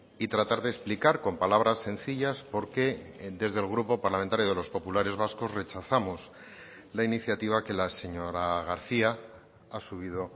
y tratar de explicar con palabras sencillas por qué desde el grupo parlamentario de los populares vascos rechazamos la iniciativa que la señora garcía ha subido